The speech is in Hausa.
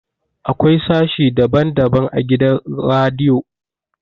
Akwai sashe daban daban a gidan radiyo